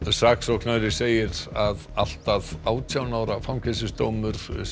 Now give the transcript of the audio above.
saksóknari segir allt að átján ára fangelsisdóm